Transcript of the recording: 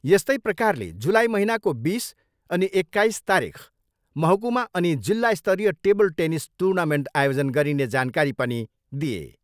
यस्तै प्रकारले जुलाई महिनाको बिस अनि एक्काइस तारिख महकुमा अनि जिल्ला स्तरीय टेबल टेनिस टुनामेन्ट आयोजन गरिने जानकारी पनि दिए।